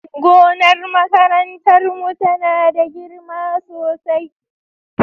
gonar makarantar mu tana da girma sosai